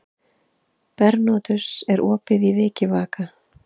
Bernódus, er opið í Vikivaka?